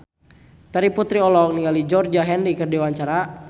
Terry Putri olohok ningali Georgie Henley keur diwawancara